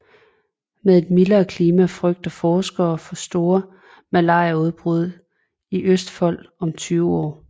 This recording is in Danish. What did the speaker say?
Med et mildere klima frygter forskerne for store malariaudbrud i Østfold om tyve år